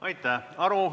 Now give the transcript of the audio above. Aitäh!